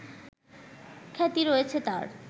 খ্যাতি রয়েছে তার